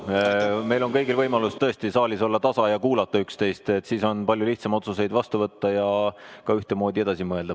Meil kõigil on tõesti võimalus olla saalis tasa ja kuulata üksteist, siis on palju lihtsam otsuseid vastu võtta ja ka ühtemoodi edasi mõelda.